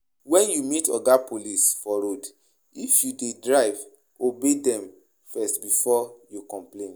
When you meet oga police for road if you dey drive, obey dem first before you complain